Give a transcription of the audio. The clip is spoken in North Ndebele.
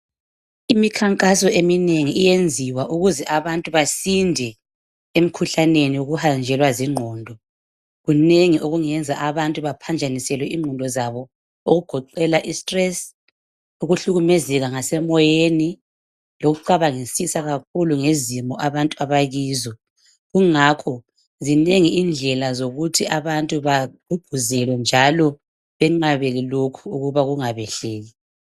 Imikhankaso eminengi iyenziwa ukuze abantu basinde emikhuhlane yokuhanjelwa zingqondo kunengi okungenza abantu baphanjaniselwe ingqondo zabo okugoqela istress ukuhlukumezeka ngasemoyeni lokucabangisisa kakhuku ngezimo abantu abangena kizo kungakho zinengi indlela zokuthi abantu bagqugquzela njalo beqabele kungabehleli lokhu